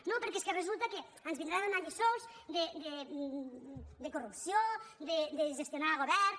no perquè és que resulta que ens vindran a donar lliçons de corrupció de gestionar governs